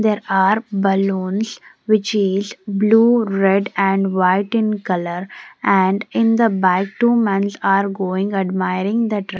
there are balloons which is blue red and white in colour and in the bike two mens are going admiring that --